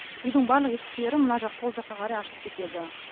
үйдің барлық есіктері мына жақ сол жаққа қарай ашылып кетеді